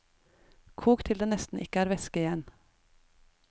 Kok til det nesten ikke er væske igjen.